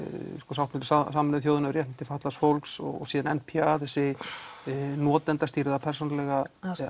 sáttmáli Sameinuðu þjóðanna um réttindi fatlaðs fólks og svo n p a þessi notendastýrða persónulega